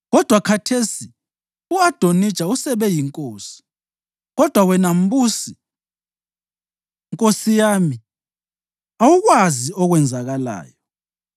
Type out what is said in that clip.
Kodwa khathesi u-Adonija usebe yinkosi, kodwa wena mbusi, nkosi yami awukwazi okwenzakalayo.